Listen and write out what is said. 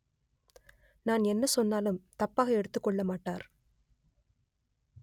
நான் என்ன சொன்னாலும் தப்பாக எடுத்துக் கொள்ளமாட்டார்